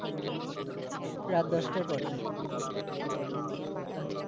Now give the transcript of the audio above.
আচ্ছা রাত দশটার পর থেকে? আচ্ছা